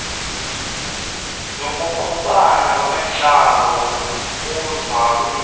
nokungqubana kwentlalo kuzaliso